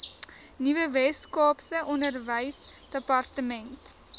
nuwe weskaapse onderwysdepartement